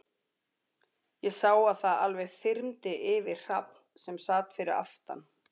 Ég sá að það alveg þyrmdi yfir Hrafn, sem sat fyrir aftan